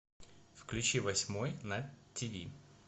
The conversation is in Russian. включи восьмой на тв